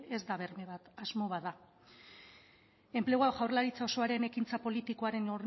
ez da berme bat asmo bat da enplegua jaurlaritza osoaren ekintza politikaren